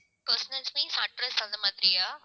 personals means address அந்த மாதிரியா